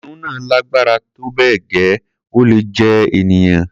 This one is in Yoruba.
kìnìún náà lágbára tó bẹ́ẹ̀ gẹ́, ó lè jẹ ènìyàn